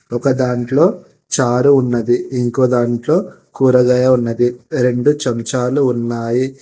ఒకదాంట్లో చారు ఉన్నది ఇంకోదాంట్లో కూరగాయ ఉన్నది రెండు చెంచాలు ఉన్నాయి.